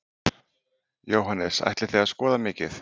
Jóhannes: Ætlið þið að skoða mikið?